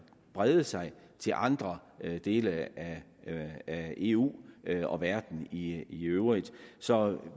brede sig til andre dele af af eu og verden i øvrigt så